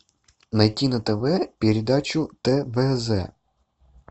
найти на тв передачу твз